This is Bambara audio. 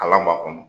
Kalan b'a kɔnɔ